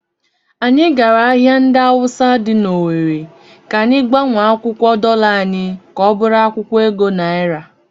Anyị gara ahịa ndị Awụsa dị n'Ọwere ka anyị gbanwee akwụkwọ dọla anyị ka ọ bụrụ akwụkwọ ego naira.